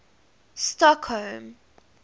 stockholm